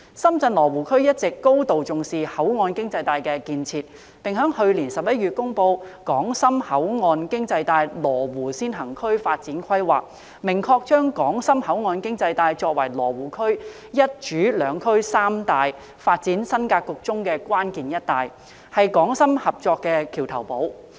深圳羅湖區一直高度重視口岸經濟帶的建設，並在去年11月公布《深港口岸經濟帶羅湖先行區發展規劃》，明確將港深口岸經濟帶作為羅湖區"一主兩區三帶"發展新格局中的關鍵"一帶"，是港深合作的橋頭堡。